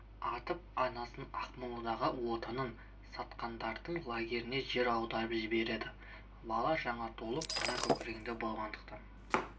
атып анасын ақмоладағы отанын сатқандардың лагеріне жер аударып жібереді бала жаңа туылып ана көкірегінде болғандықтан